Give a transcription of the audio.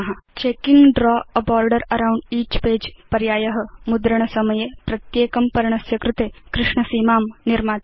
checking draw a border around each page पर्याय मुद्रणसमये प्रत्येकं पर्णस्य कृते कृष्ण सीमां निर्माति